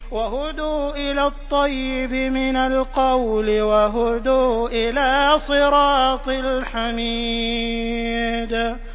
وَهُدُوا إِلَى الطَّيِّبِ مِنَ الْقَوْلِ وَهُدُوا إِلَىٰ صِرَاطِ الْحَمِيدِ